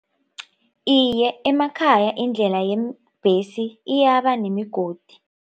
Iye, emakhaya indlela yeembhesi iyabanemigodi.